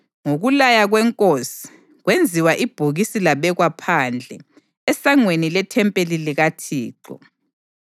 Ngokulaya kwenkosi, kwenziwa ibhokisi labekwa phandle, esangweni lethempeli likaThixo.